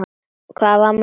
Hvað var mamma að segja?